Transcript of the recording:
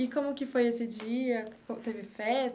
E como que foi esse dia? Teve festa?